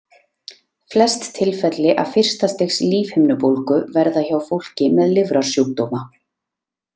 Flest tilfelli af fyrsta stigs lífhimnubólgu verða hjá fólki með lifrarsjúkdóma.